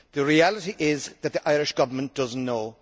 The reality is that the Irish Government does not know.